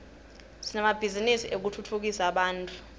sinemabhizinisi etekutfutsa bantfu